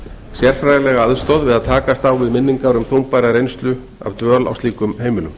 sérfræðilega aðstoð við að takast á við minningar um þungbæra reynslu af dvöl á slíkum heimilum